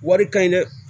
Wari ka ɲi dɛ